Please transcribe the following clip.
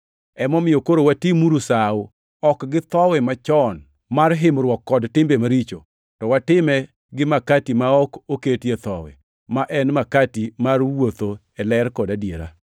Emomiyo koro watimuru sawo, ok gi thowi machon mar himruok kod timbe maricho, to watime gi makati ma ok oketie thowi, ma en makati mar wuotho e ler kod adiera.